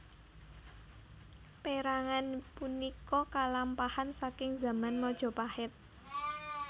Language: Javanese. Pérangan punika kalampahan saking zaman Majapahit